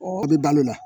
a bɛ balo o la